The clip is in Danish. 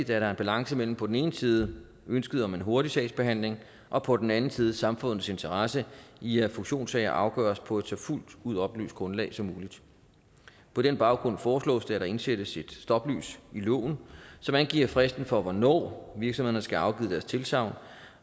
der er en balance mellem på den ene side ønsket om en hurtig sagsbehandling og på den anden side samfundets interesse i at fusionssager afgøres på et så fuldt ud oplyst grundlag som muligt på den baggrund foreslås det at der indsættes et stoplys i loven som angiver fristen for hvornår virksomhederne skal have afgivet deres tilsagn